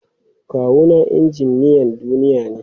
Kawuna injiniyan duniya ne.